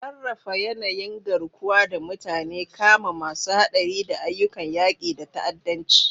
Sarrafa yanayin garkuwa da mutane, kama masu haɗari, da ayyukan yaƙi da ta'addanci.